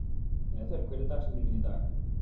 Ethel, hver er dagsetningin í dag?